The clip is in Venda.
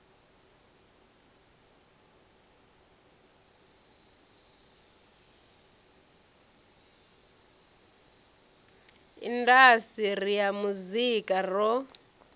indas ri ya muzika ro